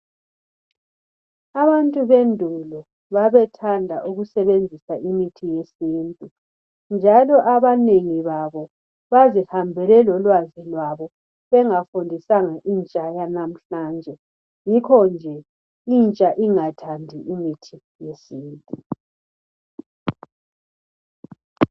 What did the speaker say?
Abantu bendulo babethanda ukusebenzisa imithi yesintu njalo abanengi babo bazihambele lolwazi labo bengafundisanga intsha yanamhlanje yikho inhla bengathandi imithi yesintu.